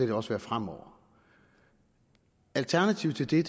det også være fremover alternativet til det